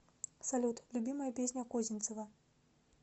салют любимая песня козинцева